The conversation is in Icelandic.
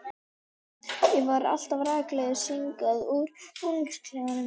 Ég fer alltaf rakleiðis hingað úr búningsklefanum.